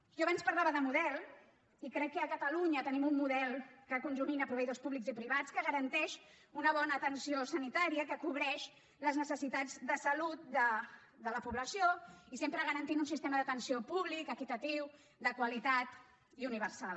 jo abans parlava de model i crec que a catalunya tenim un model que conjumina proveïdors públics i privats que garanteix una bona atenció sanitària que cobreix les necessitats de salut de la població i sempre garanteix un sistema d’atenció públic equitatiu de qualitat i universal